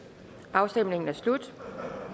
afstemningen er slut